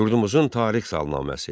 Yurdumuzun tarix salnaməsi.